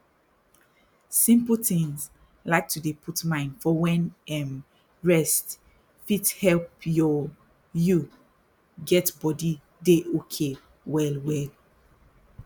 simple tins like to dey put mind for wen to um rest fit help your you get body dey okay well well